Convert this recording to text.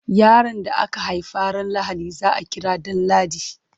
Yaron da aka haifa ran Lahadi za a kira Danladi.